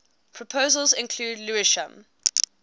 proposals include lewisham